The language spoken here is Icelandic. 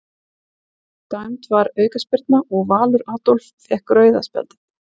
Dæmd var aukaspyrna og Valur Adolf fékk rauða spjaldið.